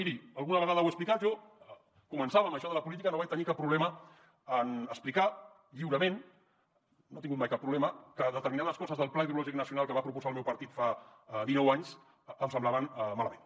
miri alguna vegada ho he explicat jo començava en això de la política no vaig tenir cap problema en explicar lliurement no hi he tingut mai cap problema que determinades coses del pla hidrològic nacional que va proposar el meu partit fa dinou anys em semblaven malament